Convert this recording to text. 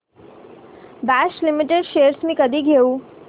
Bosch limited shares मी कधी घेऊ